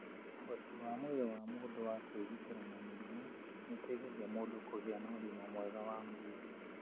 ũhoti wa mwĩrĩ wa mũndũ wa kwĩgitĩra na mĩrimũ nĩ ũteithagia mũndũ kũgĩa na ũgima mwega wa mwĩrĩ